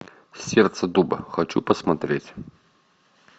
сердце дуба хочу посмотреть